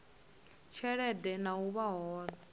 tshelede na u vha hone